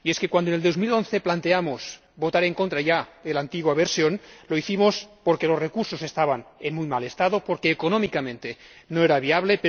Cuando, en 2011, ya planteamos votar en contra de la antigua versión, lo hicimos porque los recursos estaban en muy mal estado y porque, económicamente, no era viable.